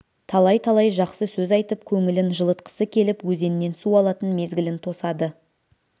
талай-талай жақсы сөз айтып көңілін жылытқысы келіп өзеннен су алатын мезгілін тосады